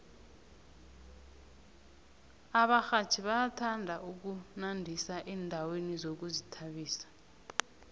abarhatjhi bayathanda ukunandisa endaweni zokuzithabisa